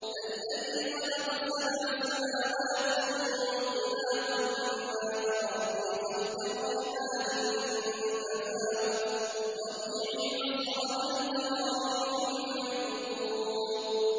الَّذِي خَلَقَ سَبْعَ سَمَاوَاتٍ طِبَاقًا ۖ مَّا تَرَىٰ فِي خَلْقِ الرَّحْمَٰنِ مِن تَفَاوُتٍ ۖ فَارْجِعِ الْبَصَرَ هَلْ تَرَىٰ مِن فُطُورٍ